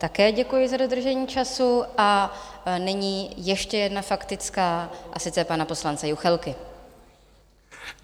Také děkuji za dodržení času a nyní ještě jedna faktická, a sice pana poslance Juchelky.